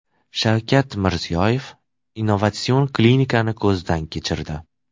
Shavkat Mirziyoyev innovatsion klinikani ko‘zdan kechirdi.